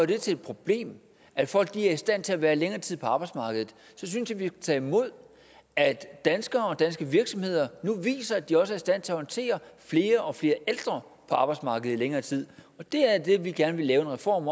det til et problem at folk er i stand til at være længere tid på arbejdsmarkedet skal tage imod at danskere og danske virksomheder nu viser at de også er i stand til at håndtere flere og flere ældre på arbejdsmarkedet i længere tid det er det vi gerne vil lave en reform